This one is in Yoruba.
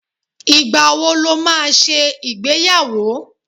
Ìgbàwo ló máa ṣe ìgbéyàwó?